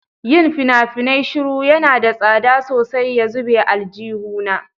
Yin fina-finai shiru yana da tsada sosai ya zube aljihuna.